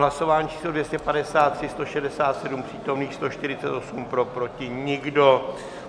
Hlasování číslo 253, 167 přítomných, 148 pro, proti nikdo.